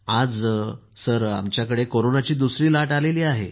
आज आमच्याकडे कोरोनाची दुसरी लाट आली आहे